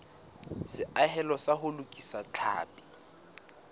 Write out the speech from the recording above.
seahelo sa ho lokisa tlhapi